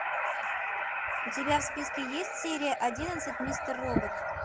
у тебя в списке есть серия одиннадцать мистер робот